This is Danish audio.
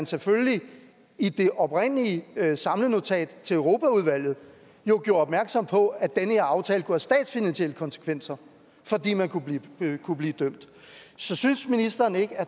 selvfølgelig i det oprindelige samlenotat til europaudvalget gjorde opmærksom på at den her aftale kunne have statsfinansielle konsekvenser fordi man kunne blive kunne blive dømt så synes ministeren ikke